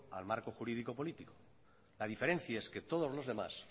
al marco jurídico político la diferencia es que todos los demás